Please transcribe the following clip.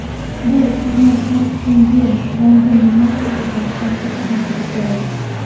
bu sizni har kuni yangi nimadir o‘rganishdan to‘xtatmasligi kerak.